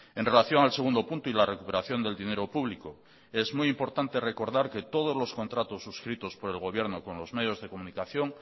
en relación al segundo punto y la recuperación del dinero público es muy importante recordar que todos los contratos suscritos por el gobierno con los medios de comunicación